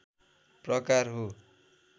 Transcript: प्रकार हो